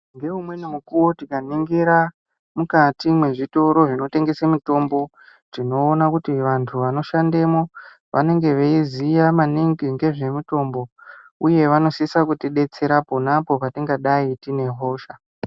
Ngeumweni mukuvo tikaningira mukati mwezvitoro zvinotengesa mitombo. Tinoona kuti vantu vanoshandemo vanenge veiziya maningi ngezvemitombo, uye vanosisa kuti betsera ponapo patingadai tine hosha.